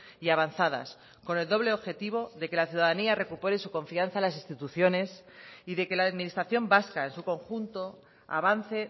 y avanzadas con el doble objetivo de que la ciudadanía recupere su confianza en las instituciones y de que la administración vasca en su conjunto avance